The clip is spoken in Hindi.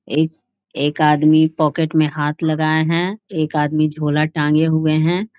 एक एक आदमी पॉकेट में हाथ लगाए हैं एक आदमी झोला टांगे हुए हैं ।